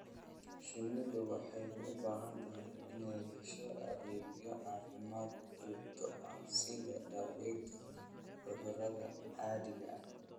Shinnidu waxay u baahan tahay inay hesho adeegyo caafimaad oo joogto ah sida daaweynta cudurrada caadiga ah.